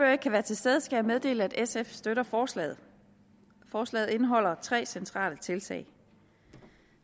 ikke kan være til stede skal jeg meddele at sf støtter forslaget forslaget indeholder tre centrale tiltag